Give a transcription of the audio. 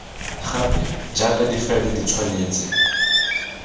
gape jaaka difaele di tshwanetse